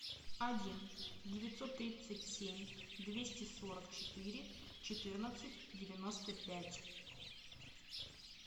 один девятьсот тридцать семь двести сорок четыре четырнадцать девяносто пять